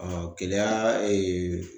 Keleya